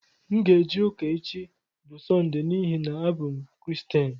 Aga m eje ụka echi bu Sọnde n'ihi na abụ m Kiristian.